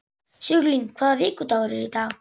Sigurlín, hvaða vikudagur er í dag?